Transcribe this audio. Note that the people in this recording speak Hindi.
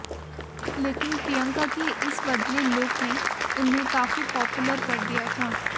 लेकिन प्रियंका के इस बदले लुक ने उन्हें काफी पॉपुलर कर दिया था